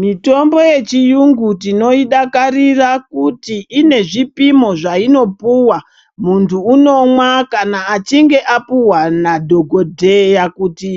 Mitombo yechiyungu tinoidakatira kuti ine zvipimo zvainopuwa muntu unomwa kana achinge apuhwa nadhokodheya kuti